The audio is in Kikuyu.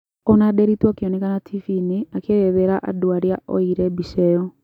Ona Nderitu akĩonekana tibiine akĩerethera andũ aria oyeire mbica ĩyo